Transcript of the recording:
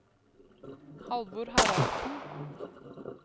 Halvor Haraldsen